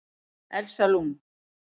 Elsa Lund